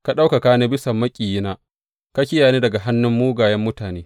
Ka ɗaukaka ni bisa maƙiyina; ka kiyaye ni daga hannun mugayen mutane.